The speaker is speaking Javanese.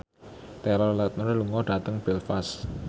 Taylor Lautner lunga dhateng Belfast